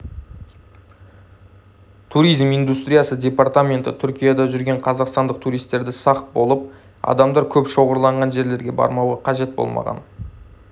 туризм индустриясы департаменті түркияда жүрген қазақстандық туристерді сақ болып адамдар көп шоғырланған жерлерге бармауға қажет болмаған